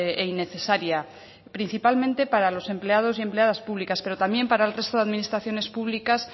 e innecesaria principalmente para los empleados y empleadas públicas pero también para el resto de administraciones públicas